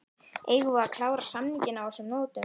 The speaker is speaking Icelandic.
Eigum við að klára samninginn á þessum nótum?